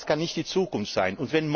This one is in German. Denn das kann nicht die Zukunft sein.